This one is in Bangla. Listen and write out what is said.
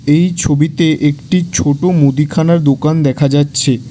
এই ছবিতে একটি ছোট মুদিখানার দুকান দেখা যাচ্ছে।